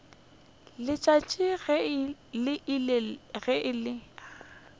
letšatši le ile ge le